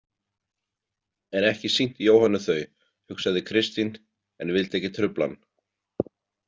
En ekki sýnt Jóhönnu þau, hugsaði Kristín en vildi ekki trufla hann.